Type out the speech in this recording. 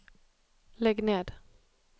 ligg ned